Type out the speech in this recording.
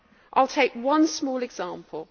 I will take one small example.